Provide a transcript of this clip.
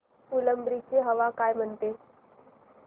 फुलंब्री ची हवा काय म्हणते